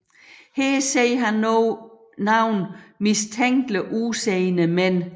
Her ser han nogle mistænkeligt udseende mænd